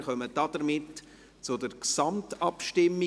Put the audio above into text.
Wir kommen damit zur Gesamtabstimmung.